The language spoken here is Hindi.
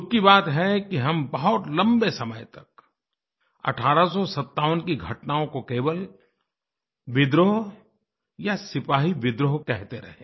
दुःख की बात है कि हम बहुत लम्बे समय तक 1857 की घटनाओं को केवल विद्रोह या सिपाही विद्रोह कहते रहे